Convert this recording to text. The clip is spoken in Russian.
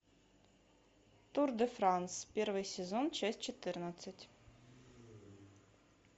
тур де франс первый сезон часть четырнадцать